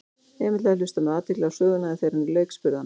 Emil hafði hlustað með athygli á söguna en þegar henni lauk spurði hann